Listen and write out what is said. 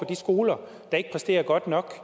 de skoler der ikke præsterer godt nok